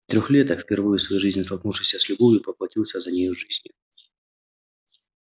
трёхлеток впервые в своей жизни столкнувшийся с любовью поплатился за нее жизнью